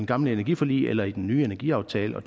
gamle energiforlig eller i den nye energiaftale og